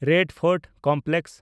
Lal fort complex